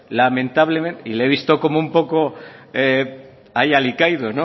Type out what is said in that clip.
lamentablemente y le he visto como un poco ahí alicaído